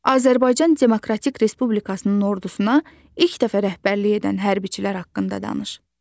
Azərbaycan Demokratik Respublikasının ordusuna ilk dəfə rəhbərlik edən hərbçilər haqqında danış.